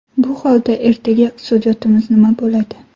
Bu holda ertaga iqtisodiyotimiz nima bo‘ladi?